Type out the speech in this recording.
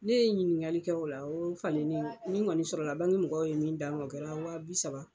Ne ye ɲiningali kɛ o la, o falenni min kɔni sɔrɔ la banki mɔgɔw ye min d'an ma o kɛra waa bi saba